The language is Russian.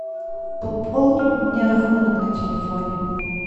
пополни мне рахунок на телефоне